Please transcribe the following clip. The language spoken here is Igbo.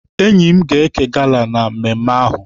Enyi m ga-eke gala na mmemme ahụ.